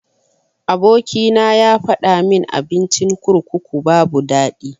Aboki na yafadamin abincin kurkuku babu daɗi.